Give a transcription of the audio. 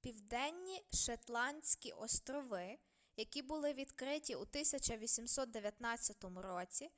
південні шетландські острови які були відкриті у 1819 році